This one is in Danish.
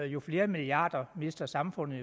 jo flere milliarder mister samfundet